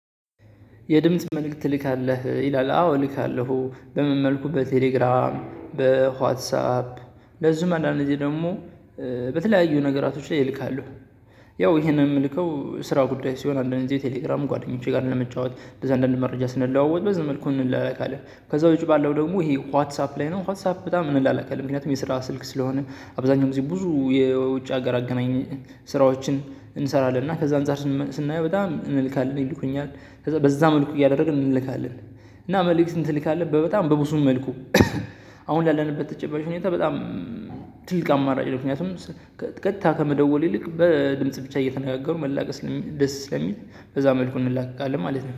የድምጽ መልእክት ትልካለህ ይላል አዎ እልካለሁ በምን መልኩ በቴሌግራም በዋትሳፕ። እንደዚሁም አንዳንድ ጊዜ ደግሞ በተለያዩ ነገራቶች ላይ እልካለሁ። ያው ይሄን የምልከው ስራው ጉዳይ ሲሆን አንዳንዴ ቴሌግራም ጓደኞቼ ጋር ለመጫወት እንደዛ አንዳንድ መረጃ ስንለዋወጥ በዚህ መልኩ እንላላካለን። ከዛ ውጪ ባለው ደግሞ ይሄ ዋትሳፕ ላይ ነው ዋትሳፕ በጣም እንላላካለን የ ምክንያቱም የስራ ስልክ ስለሆነ። አብዛኛውን ጊዜ ብዙ የውጭ ሀገር አገናኝ። ስራዎችን እንሰራለን እና ከዛ አንፃር ስናየው በጣም እንልካለን ይልኩኛል ከዛ በዛ መልኩ እያደረግን እንልካለን። እና መልእክት ትልካለህ በጣም በብዙም መልኩ። አሁን ላለንበት ተጨባጭ ሁኔታ በጣም ትልቅ አማራጭ ነው። ምክንያቱም ቀጥታ ከመደወል ይልቅ በድምጽ ብቻ እየተነጋገሩ መላክ ደስ ስለሚል። በዛ መልኩ እንላቀቃለን ማለት ነው